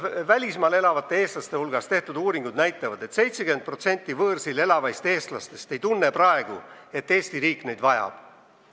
Välismaal elavate eestlaste hulgas tehtud uuringud näitavad, et 70% võõrsil elavaist eestlastest ei tunne, et Eesti riik neid vajaks.